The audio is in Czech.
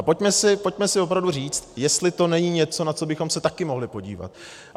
A pojďme si opravdu říct, jestli to není něco, na co bychom se taky mohli podívat.